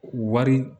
Wari